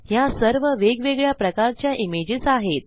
ह्या सर्व वेगवेगळ्या प्रकारच्या इमेजेस आहेत